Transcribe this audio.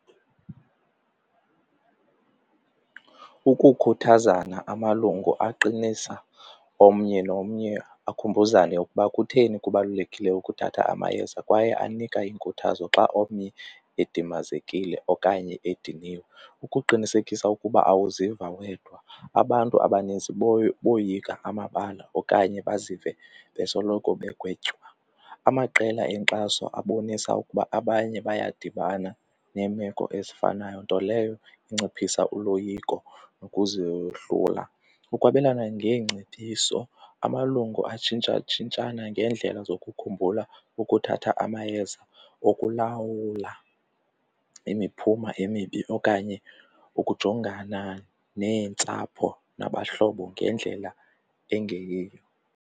Ukukhuthazana amalungu aqinisa omnye nomnye akhumbuzane ukuba kutheni kubalulekile ukuthatha amayeza kwaye anika inkuthazo xa omnye edimazekile okanye ediniwe ukuqinisekisa ukuba awuziva wedwa. Abantu abaninzi boyika amabala okanye bazive besoloko begwetywa. Amaqela enkxaso abonisa ukuba abanye bayadibana neemeko ezifanayo, nto leyo inciphisa uloyiko nokuzehlula. Ukwabelana ngeengcebiso, amalungu atshintshatshintshana ngeendlela zokukhumbula ukuthatha amayeza, ukulawula imiphumo emibi okanye ukujongana neentsapho nabahlobo ngendlela engeyiyo.